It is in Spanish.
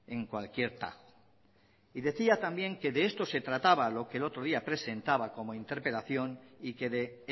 en cualquier tajo y decía también que de esto se trataba lo que el otro día presentaba como interpelación y que de